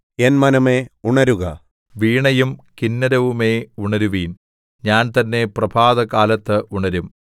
N മനമേ ഉണരുക വീണയും കിന്നരവുമേ ഉണരുവിൻ ഞാൻ തന്നെ പ്രഭാതകാലത്ത് ഉണരും